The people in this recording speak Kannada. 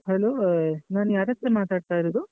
Hello ನಾನ್ ಯಾರತ್ರ ಮಾತಾಡ್ತಿರುದು?